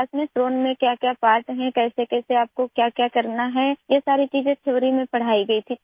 class میں drone کے پرزے کیا ہوتے ہیں، آپ کو کیسے اور کیا کرنا ہے یہ سب چیزیں تھیوری میں پڑھائی گئیں